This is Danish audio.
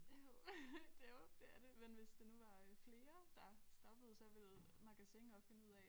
Jo det er jo det er det men hvis det nu var øh flere der stoppede så ville Magasin også finde ud af